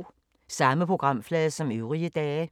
Samme programflade som øvrige dage